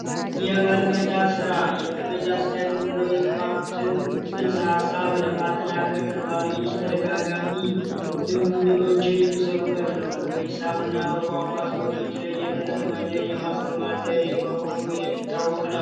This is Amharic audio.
የመልመጃ ስራ የመልመጃ ስራ የምንለው ጽንሰ ሀሳብ ለማጠናከር ተማሪዎችን በተደጋጋሚ ልምምዶችን የሚሰሩበት ነው በሂሳብ እና በቋንቋ ትምህርቶች ላይ የተለመደ የማስተማር ዘዴ መሆኑ የሚታወቅ ነው።